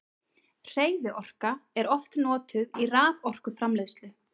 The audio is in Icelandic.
hreyfiorka er oft notuð í raforkuframleiðslu